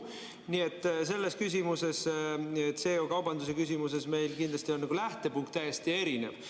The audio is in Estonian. Nii et selles küsimuses, CO2 kaubanduse küsimuses, meil kindlasti on lähtepunkt täiesti erinev.